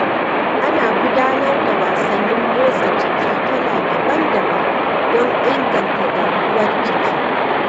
Ana gudanar da wasannin motsa jiki kala daban-daban don inganta garkuwar jiki.